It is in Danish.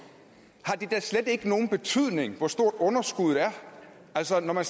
har det da slet ikke nogen betydning hvor stort underskuddet er altså når man